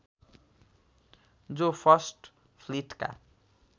जो फर्स्ट फ्लीटका